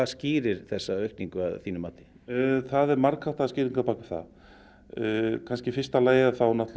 skýrir þessa aukningu að þínu mati það eru margháttaðar skýringar á bak við það í fyrsta lagi